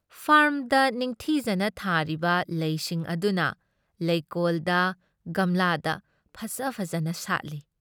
ꯐꯥꯔꯝꯗ ꯅꯤꯡꯊꯤꯖꯅ ꯊꯥꯔꯤꯕ ꯂꯩꯁꯤꯡ ꯑꯗꯨꯅ ꯂꯩꯀꯣꯜꯗ ꯒꯝꯂꯥꯗ ꯐꯖ ꯐꯖꯅ ꯁꯥꯠꯂꯤ ꯫